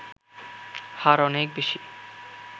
হার অনেক বেশি